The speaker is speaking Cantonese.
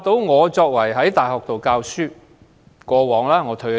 我曾在大學任教，但我已經退休。